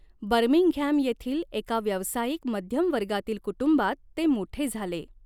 Birmingham येथील एका व्यावसायिक मध्यम वर्गातील कुटुंबात ते मोठे झाले.